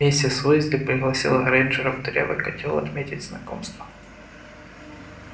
мистер уизли пригласил грэйнджеров в дырявый котёл отметить знакомство